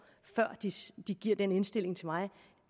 før de giver den indstilling til mig